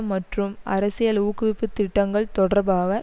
மற்றும் அரசியல் ஊக்குவிப்புத் திட்டங்கள் தொடர்பாக